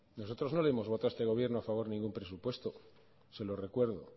nosotros no le hemos votado a este gobierno a favor ningún presupuesto se lo recuerdo